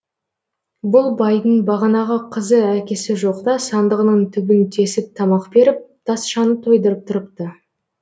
бұл байдың бағанағы қызы әкесі жоқта сандығының түбін тесіп тамақ беріп тазшаны тойдырып тұрыпты